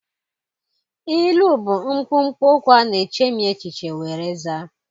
Ilu bụ mkpụmkpụ okwu ana echemi echiche were zaa.